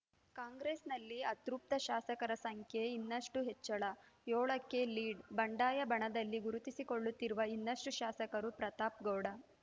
ಕಾಂಗ್ರೆಸ್ಸಲ್ಲಿ ಅತೃಪ್ತ ಶಾಸಕರ ಸಂಖ್ಯೆ ಇನ್ನಷ್ಟುಹೆಚ್ಚಳ ಏಳಕ್ಕೆ ಲೀಡ್‌ ಬಂಡಾಯ ಬಣದಲ್ಲಿ ಗುರುತಿಸಿಕೊಳ್ಳುತ್ತಿರುವ ಇನ್ನಷ್ಟುಶಾಸಕರು ಪ್ರತಾಪ್‌ಗೌಡ